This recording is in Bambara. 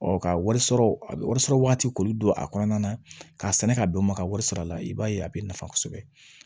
ka wari sɔrɔ a bɛ wari sɔrɔ wagati koli don a kɔnɔna na k'a sɛnɛ ka don ma ka wari sara la i b'a ye a bɛ nafa kosɛbɛ